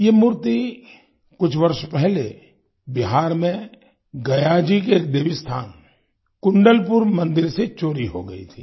ये मूर्ति कुछ वर्ष पहले बिहार में गया जी के देवी स्थान कुंडलपुर मंदिर से चोरी हो गई थी